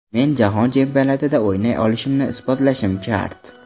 Men Jahon chempionatida o‘ynay olishimni isbotlashim shart.